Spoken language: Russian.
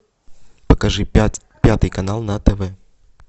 покажи пятый канал на тв